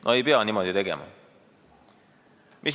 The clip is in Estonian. No ei pea niimoodi tegema.